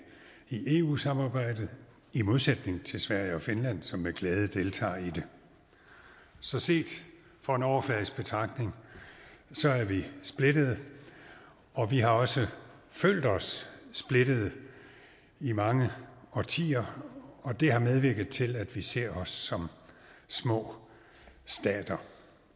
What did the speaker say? i eu samarbejdet i modsætning til sverige og finland som med glæde deltager i det så set fra en overfladisk betragtning er vi splittede og vi har også følt os splittede i mange årtier og det har medvirket til at vi ser os som små stater